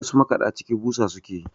wasu makaɗaciki busa suke yi